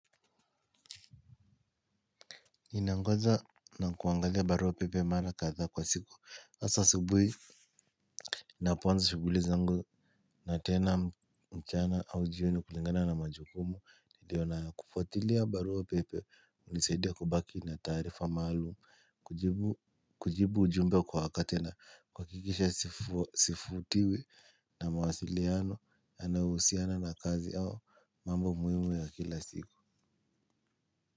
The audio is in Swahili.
Ninangoja na kuangalia barua pepe mara kadhaa kwa siku asa asubuhi ninapoanza shughuli zangu. Na tena mchana au jioni kulingana na majukumu. Nilio nayo kufuatilia barua pepe unisaidia kubaki na taarifa maalum kujibu kujibu ujumbe kwa wakati na kuhakikisha sifutiwi na mawasiliano yanayohusiana na kazi au mambo muhimu ya kila siku.